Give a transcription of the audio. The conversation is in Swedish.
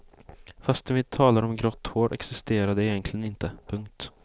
Fastän vi talar om grått hår existerar det egentligen inte. punkt